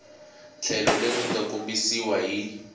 tlhelo leri nga kombisiwa hi